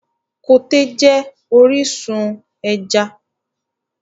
Koté jẹ́ orísun ẹja.